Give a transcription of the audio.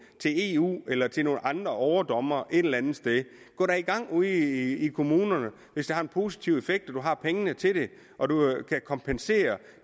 til eu eller til nogle andre overdommere et eller andet sted gå da i gang ude i kommunerne hvis det har en positiv effekt og de har pengene til det og de kan kompensere